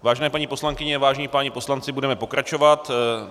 Vážené paní poslankyně, vážení páni poslanci, budeme pokračovat.